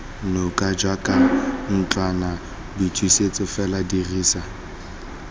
noka jaaka ntlwanaboithusetso fela dirisa